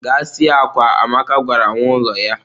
Gaa sie akwa! Amaka gwara nwa ulo ya